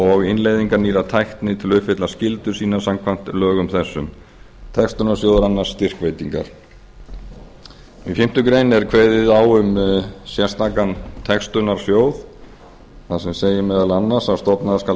og innleiðingar nýrrar tækni til að uppfylla skyldur sínar samkvæmt lögum þessum textunarsjóður annast styrkveitingar í fimmtu grein er kveðið á um sérstakan textunarsjóð þar sem segir meðal annars að stofnaður skal